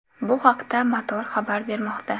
Bu haqda Motor xabar bermoqda .